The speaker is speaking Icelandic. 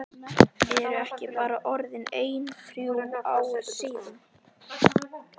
Eru ekki bara orðin ein þrjú ár síðan?